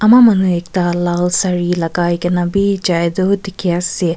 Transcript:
kunba manu ekta lal sari lagai kena bi jai toh dikhi ase.